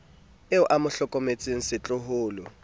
eo a mo hlokomelang setloholo